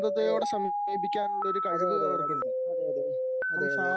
ഏഹ് അതെ അതെ അതെ അതെ അതെ അതെ